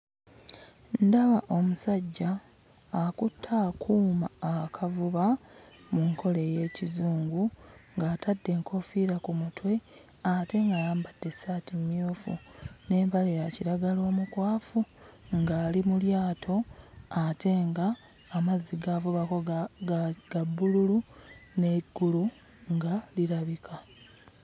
Ndaba omusajja akutte akuuma akavuba mu nkola ey'Ekizungu, ng'atadde enkoofiira ku mutwe ate ng'ayambadde essaati mmyufu n'empale ya kiragala omukwafu ng'ali mu lyato ate ng'amazzi g'avubako ga bbululu n'eggulu nga lirabika.